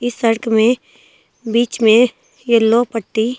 इस सड़क में बीच में येलो पट्टी--